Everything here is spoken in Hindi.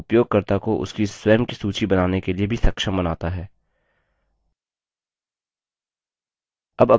यह उपयोगकर्ता को उसकी स्वयं की सूची बनाने के लिए भी सक्षम बनाता है